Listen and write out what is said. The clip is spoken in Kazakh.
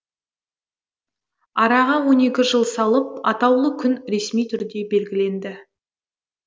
араға он екі жыл салып атаулы күн ресми түрде белгіленді